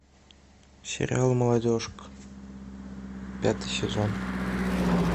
сериал молодежка пятый сезон